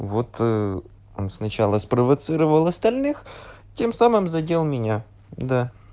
вот он сначала спровоцировал остальных тем самым задел меня да